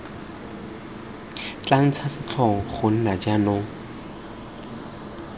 tla ntsha setlhong gona jaanong